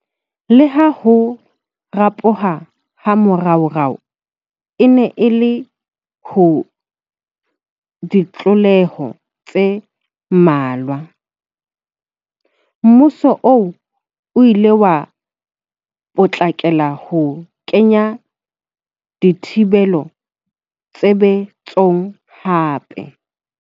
Leha ho ropoha ha moraorao e ne e le ha ditlaleho tse mmalwa, mmuso oo o ile wa potlakela ho kenya dithibelo tshebe tsong hape.